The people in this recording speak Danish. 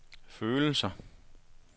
følelser